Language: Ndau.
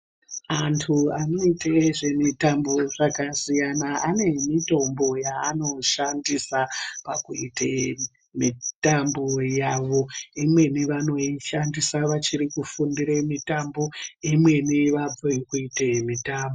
Antu anoite zvemitambo zvakasiyana ane mitombo yavanoshandisa pakuite mitambo yavo, imweni vanoshandisa vachirikuite zvekundira imweni vabve koite mitambo.